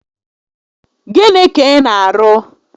Gịnị ka ị na arụ?